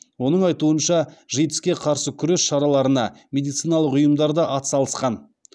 оның айтуынша житс ке қарсы күрес шараларына медициналық ұйымдар да атсалысқан